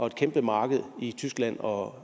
et kæmpe marked i tyskland og